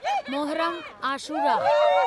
Muharram Ashura